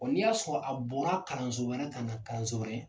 ni y'a sɔrɔ a bɔra kalanso wɛrɛ ka na kalanso wɛrɛ